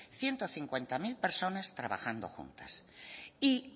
ciento cincuenta mil personas trabajando juntas y